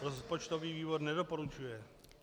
Rozpočtový výbor nedoporučuje.